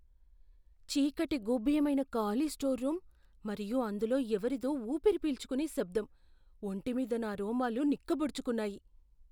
చీకటి గూభ్యమైన ఖాళీ స్టోర్ రూమ్ మరియు అందులో ఎవరిదో ఊపిరి పీల్చుకునే శబ్దం, ఒంటిమీద నా రోమాలు నిక్కపొడుచుకున్నాయి.